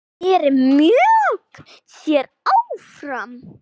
Þeir mjökuðu sér áfram.